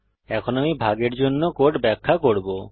এখন আমি ভাগের জন্য কোড ব্যাখ্যা করব